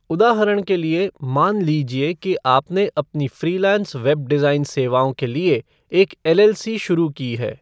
उदाहरण के लिए, मान लीजिए कि आपने अपनी फ़्रीलांस वेब डिज़ाइन सेवाओं के लिए एक एलएलसी शुरू की है।